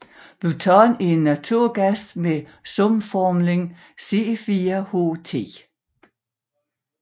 Butan er en naturgas med sumformlen C4H10